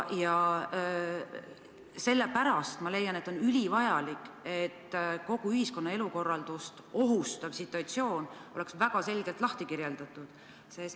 Ja sellepärast ma leian, et on ülivajalik, et kogu ühiskonna elukorraldust ohustav situatsioon oleks väga selgelt lahti kirjutatud.